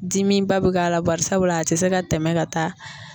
Dimiba bɛ k'a la barisabula a tɛ se ka tɛmɛn ka taa